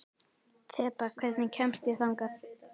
Þeba, hvernig kemst ég þangað?